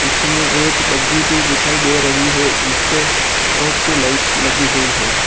और यहां पर कुछ पोस्टर भी लगी हुई दिखाई दे रहे हैं।